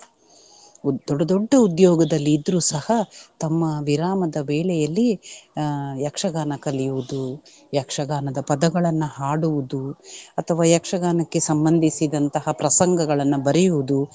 ದೊಡ್ಡ ದೊಡ್ಡ ಉದ್ಯೋಗದಲ್ಲಿ ಇದ್ರೂ ಸಹ ತಮ್ಮ ವಿರಾಮದ ವೇಳೆಯಲ್ಲಿ ಅಹ್ ಯಕ್ಷಗಾನ ಕಲಿಯುವುದು, ಯಕ್ಷಗಾನದ ಪದಗಳನ್ನ ಹಾಡುವುದು ಅಥವಾ ಯಕ್ಷಗಾನಕ್ಕೆ ಸಂಬಂಧಿಸಿದಂತಹ ಪ್ರಸಂಗಗಳನ್ನ ಬರೆಯುವುದು.